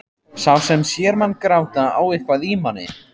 Sá sem sér mann gráta á eitthvað í manni.